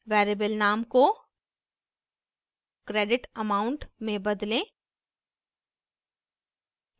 variable name को credit amount में बदलें